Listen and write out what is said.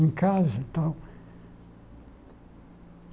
em casa e tal.